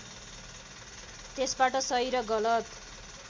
त्यसबाट सही र गलत